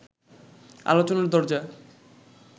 আলোচনার দরজা